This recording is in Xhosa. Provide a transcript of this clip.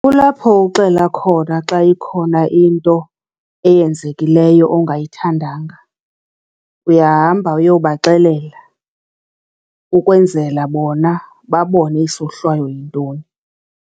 Kulapho uxela khona xa ikhona into eyenzekileyo ongayithandanga. Uyahamba uyobaxelela ukwenzela bona babone isohlwayo yintoni.